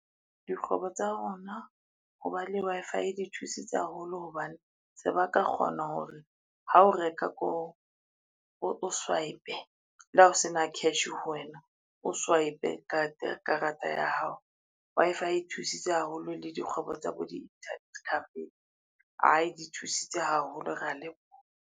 Dikgwebo tsa rona ho ba le Wi-Fi di thusitse haholo hobane, se ba ka kgona hore ha o reka koo o swipe le hao sena cash ho wena o swipe karata ya hao. Wi-Fi e thusitse haholo le dikgwebo tsa bo di-internet cafe, ai di thusitse haholo rea leboha.